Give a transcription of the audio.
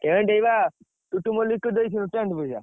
Tent ଏଇବା ଟୁଟୁମଲିକ କୁ ଦେଇଥିଲୁ tent ପଇସା।